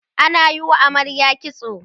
ana Yi wa amaryar kitso